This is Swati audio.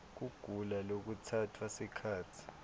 kugula lokutsatsa sikhatsi